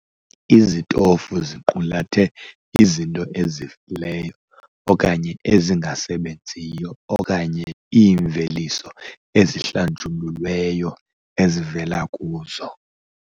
Izitofu ziqulathe izinto ezifileyo okanye ezingasebenziyo okanye iimveliso ezihlanjululweyo ezivela kuzo.